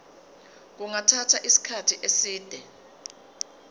kungathatha isikhathi eside